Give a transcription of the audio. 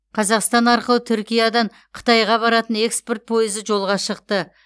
қазақстан арқылы түркиядан қытайға баратын экспорт пойызы жолға шықты